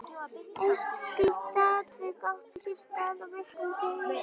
Eitt slíkt atvik átti sér stað á virkum degi.